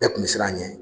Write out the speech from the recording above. Bɛɛ kun bɛ siran a ɲɛ